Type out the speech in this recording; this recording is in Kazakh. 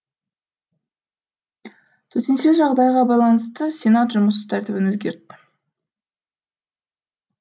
төтенше жағдайға байланысты сенат жұмыс тәртібін өзгертті